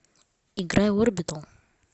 играй орбитал